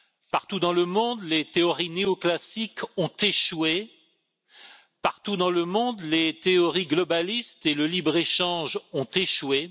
Partout dans le monde, les théories néoclassiques ont échoué. Partout dans le monde, les théories globalistes et le libre échange ont échoué.